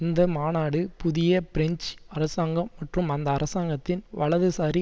அந்த மாநாடு புதிய பிரெஞ்சு அரசாங்கம் மற்றும் அந்த அரசாங்கத்தின் வலதுசாரி